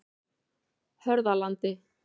Hörðalandi